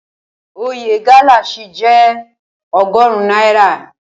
Oye gálà ṣì jẹ́ ọgọrun náírà.